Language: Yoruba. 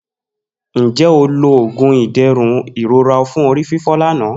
Nje o lo oogun iderun irora fun orififo lana